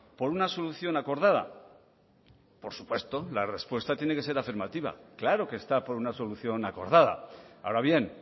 por una solución acordada por supuesto la respuesta tiene que ser afirmativa claro que está por una solución acordada ahora bien